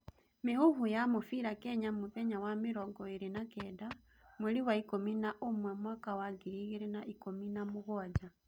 Mĩhuhu ya mũbira Kenya mũthenya wa mĩrongo iri na kenda mweri wa ikũmi na ũmwe mwaka wa ngiri igĩrĩ na ikũmi na mũgwanja